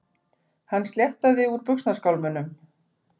Hann sléttaði úr buxnaskálmunum.